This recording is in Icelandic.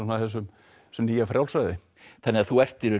þessu nýja frjálsræði þannig að þú ert í raun